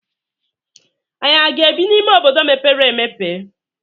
Ànyị aga-ebi n'ime obodo mepere emepe?